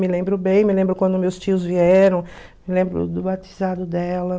Me lembro bem, me lembro quando meus tios vieram, me lembro do batizado dela.